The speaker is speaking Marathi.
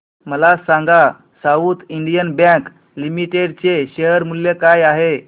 मला सांगा साऊथ इंडियन बँक लिमिटेड चे शेअर मूल्य काय आहे